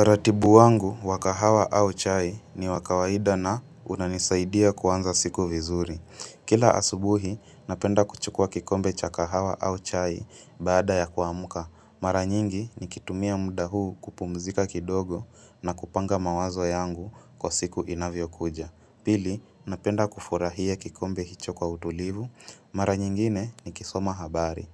Utaratibu wangu wa kahawa au chai ni wa kawaida na unanisaidia kuanza siku vizuri. Kila asubuhi, napenda kuchukua kikombe cha kahawa au chai baada ya kuamka. Mara nyingi nikitumia muda huu kupumzika kidogo na kupanga mawazo yangu kwa siku inavyokuja. Pili, napenda kufurahia kikombe hicho kwa utulivu. Mara nyingine ni kisoma habari.